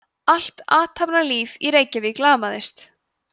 allt athafnalíf í reykjavík lamaðist